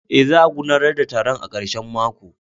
Eh, za a gudanar da taron a karshen mako.